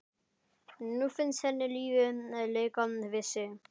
Nú finnst henni lífið leika við sig.